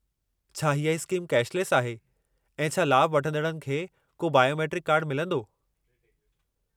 छा हीअ scheme cashless आहे ऐं छा लाभु वठंदड़नि खे को बायोमेट्रिक कार्डु मिलंदो?